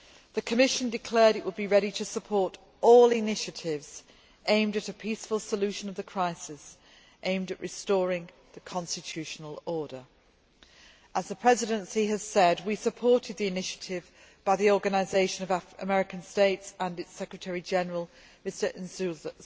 The Commission declared it would be ready to support all initiatives aimed at a peaceful solution of the crisis and at restoring the constitutional order. As the Presidency has said, we supported the initiative by the Organisation of American States and its Secretary General, Mr Insulza,